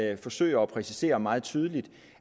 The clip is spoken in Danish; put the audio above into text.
jeg forsøger at præcisere meget tydeligt